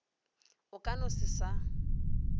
a ka no se sa